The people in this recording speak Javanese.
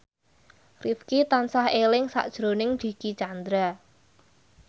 Rifqi tansah eling sakjroning Dicky Chandra